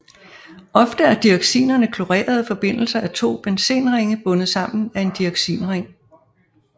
Ofte er dioxinerne klorerede forbindelser af to benzenringe bundet sammen af en dioxinring